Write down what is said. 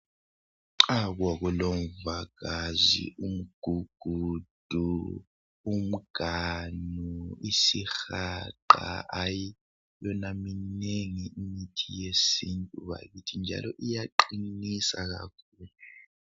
Umvagazi, umgugudu, umganu, isihaqa hayi yona minengi imithi yesintu bakithi njalo iyaqinisa kakhulu.